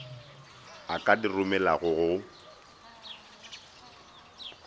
a ka di romelago go